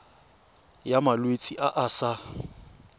ya malwetse a a sa